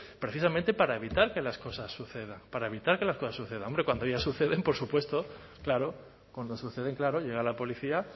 precisamente para evitar que las cosas sucedan para evitar que las cosas sucedan hombre cuando ya suceden por supuesto claro cuando suceden claro llega la policía